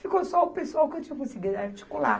Ficou só o pessoal que eu tinha conseguido articular.